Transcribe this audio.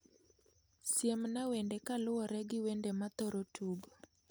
Siemna wende kaluwore gi wende ma athoro tugo